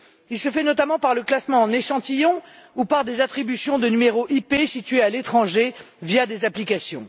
Il se fait notamment par le classement en échantillons ou par des attributions de numéros IP situés à l'étranger via des applications.